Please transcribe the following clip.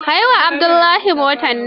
Kai wa Abdullahi motar nan.